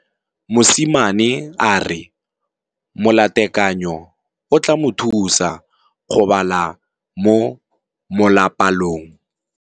Mosimane a re molatekanyô o tla mo thusa go bala mo molapalong.